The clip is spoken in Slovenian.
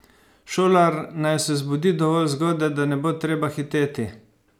Šolar naj se zbudi dovolj zgodaj, da ne bo treba hiteti.